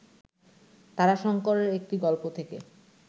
তারাশঙ্করের একটি গল্প থেকে